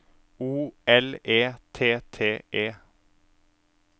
O L E T T E